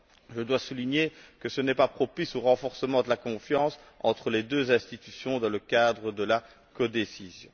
je dois souligner que ce n'est pas propice au renforcement de la confiance entre les deux institutions dans le cadre de la codécision.